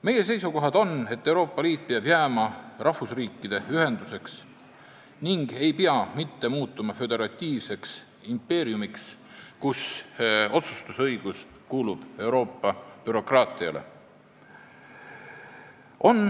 Meie seisukohad on, et Euroopa Liit peab jääma rahvusriikide ühenduseks, mitte muutuma föderatiivseks impeeriumiks, kus otsustusõigus kuulub Euroopa bürokraatiale.